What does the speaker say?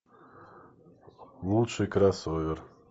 лучший кроссовер